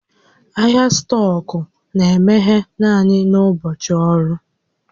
Ahịa stọkụ na-emeghe naanị n'ụbọchị ọrụ